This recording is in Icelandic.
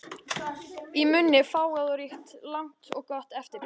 Í munni fágað og ríkt, langt og gott eftirbragð.